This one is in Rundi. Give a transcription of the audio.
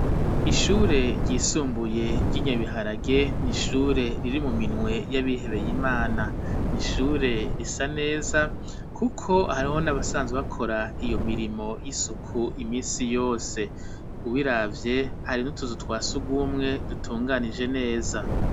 Ishure ryisumbuye ryi Nyabiharage n ishure riri mu minwe y'abihebeye imana n'ishure risa neza kuko hariho n'abasanzwe bakora iyo mirimo y'isuku imisi yose ubiravye hari n'utuzu twasugumwe dutunganije neza.